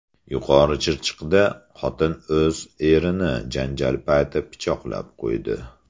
Yuqorichirchiqda xotin o‘z erini janjal payti pichoqlab qo‘ydi.